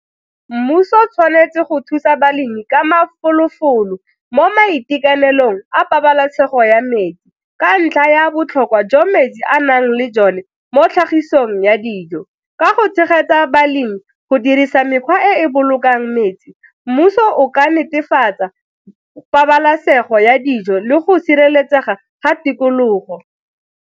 Mmuso o tshwanetse go thusa balemi ka mafolofolo mo maikaelelong a pabalesego ya metsi ka ntlha ya botlhokwa jwa metsi a nang le jole mo tlhagisong ya di dijo, ka go tshegetsa balemi go dirisa mekgwa e e bolokang metsi, mmuso o ka netefatsa pabalesego ya dijo le go sireletsega ga tikologo.